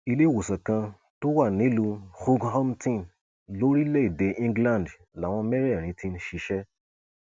iléèwòsàn kan tó wà nílùú hughhampton lórílẹèdè england làwọn mẹrẹẹrin ti ń ṣiṣẹ